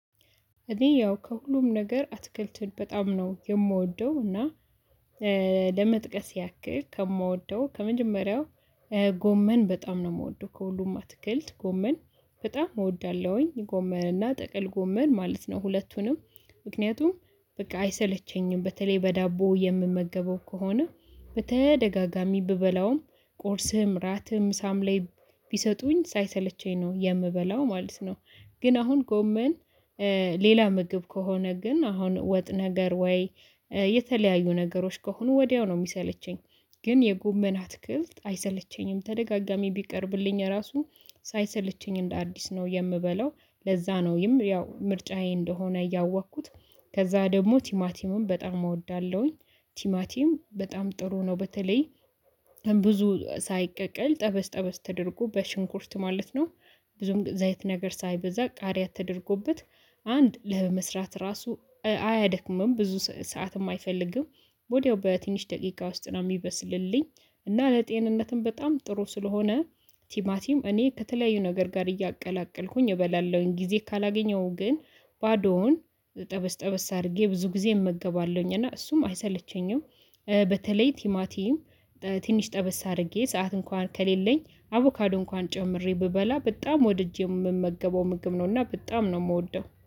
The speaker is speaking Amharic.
እኔ ያው ከሁሉም ነገር አትክልት በጣም ነው የምወደው። እና ለመጥቀስ ያክል ከምወደው ከመጀመሪያው ጎመን በጣም ነው የምወደው ከሁሉም አትክልት ጎመን በጣም እወዳለሁኝ ጎመንና ጠቅል ጎመን ማለት ነው። ሁለቱንም ምክንያቱም በቃ አይሰለቸኝም በተለይ በዳቦ የምመገበው ከሆነ በተደጋጋሚ ብበላውም ቁርስም ራትም ምሳም ላይ ቢሰጡኝ ሳይሰለቸኝ ነው የምበላው ማለት ነው። ግን አሁን ጎመን ሌላ ምግብ ከሆነ ግን አሁን ወጥ ነገር ወይ የተለያዩ ነገሮች ከሆኑ ወዲያው ነው የሚሰለቸኝ። ግን የጎመን አትክልት አይሰለቸኝም ተደጋጋሚ ቢቀርብልኝ ራሱን ሳይሰለቸኝ እንደ አዲስ ነው የምበለው ለዛ ነው ያው ምርጫዬ እንደሆነ እያወቅኩት። ከዛ ደግሞ ቲማቲምም በጣም እወዳለሁኝ ቲማቲም በጣም ጥሩ ነው በተለይ ብዙ ሳይቀቀል ጠበስ ጠበስ ተደርጎ በሽንኩርት ማለት ነው። ብዙም ዘይት ነገር ሳይበዛ ቃሪያ ተደርጎበት አንድ ለመስራት ራሱ አያደክምም ብዙ ሰዓትም አይፈልግም ወዲያው በትንሽ ደቂቃ ውስጥ ነው የሚበስልልኝ። እና ለጤንነትም በጣም ጥሩ ስለሆነ ቲማቲም እኔ ከተለያዩ ነገር ጋር እያቀላቀልኩኝ እበላለሁኝ ጊዜ ካላገኘሁኝ ግን ባዶውን ጠበስ ጠበስ አድርጌ ብዙ ጊዜ እመገባለሁኝ እና እሱም አይሰለቸኝም። በተለይ ቲማቲም ትንሽ ጠበስ አድርጌ ሰዓት እንኳን ከሌለኝ አቮካዶ እንኳን ጨምሬ ብበላ በጣም ወድጄ የምመገበው ምግብ ነውና በጣም ነው የምወደው